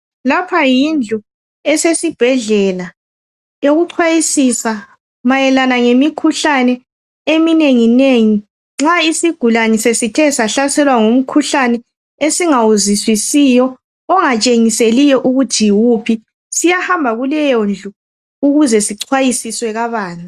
Lapha yindlu usesibhedlela eyokuxwayisisa mayelana lemikhuhlane eminengi nengi. Nxa isigulane sesithe sahlaselwa ngumkhuhlane esingawuzwiisisiyo ongarshengiseliyo ukuthi yiwuphi, siyahamba kuleyondlu ukuze sixwayisiswe kabanzi.